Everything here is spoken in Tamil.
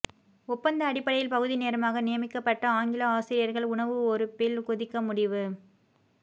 ஒப்பந்த அடிப்படையில் பகுதி நேரமாக நியமிக்கப்பட்ட ஆங்கில ஆசிரியர்கள் உணவு ஒறுப்பில் குதிக்க முடிவு